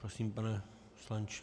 Prosím, pane poslanče.